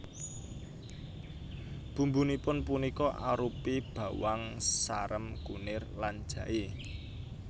Bumbunipun punika arupi bawang sarem kunir lan jaé